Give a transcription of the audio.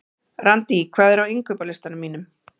Randý, hvað er á innkaupalistanum mínum?